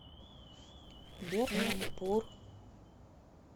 берхампур